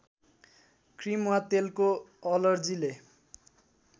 cream वा तेलको अलर्जीले